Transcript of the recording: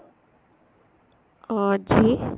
ਅਹ ਜੀ